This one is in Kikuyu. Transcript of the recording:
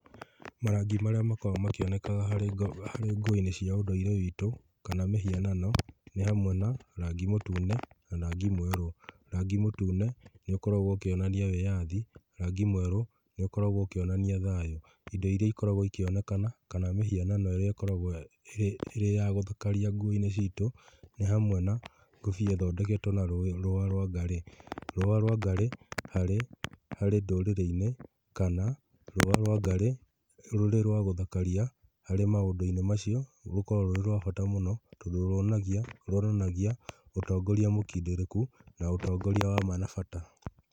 Marangi marĩa makoragwo makĩoneka harĩ nguo-inĩ cia ũndũire witũ kana mĩhianano nĩ hamwe na, rangi mũtune na rangi mwerũ. Rangi mũtune nĩ ũkoragwo ũkionania wĩyathi, rangi mwerũ nĩ ũkoragwo ũkĩonania thayũ. Indo iria ikoragwo ikĩonekana, kana mĩhianano ĩrĩa ĩkoragwo ĩrĩ ya gũthakaria nguo-inĩ citũ nĩ hamwe na ngũbia ithondeketwo na rũĩ, rũa rwa ngarĩ, rũa rwa ngari, ngari hari ndũrĩrĩ-inĩ kana rũa rwa ngari rũrĩ rwagũthakaria harĩ maũndũ-inĩ macio, rũkoragwo rũrĩ rwa bata mũno, tondũ ruonanagia, ruonanagia ũtongoria mũkindĩrĩku, na ũtongoria wa ma na bata.